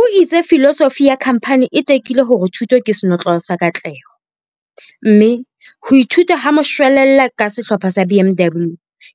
O itse filosofi ya khamphani e tekile hore thuto ke senotlolo sa katleho, mme "ho ithuta ha moshwelella ka Sehlopha sa BMW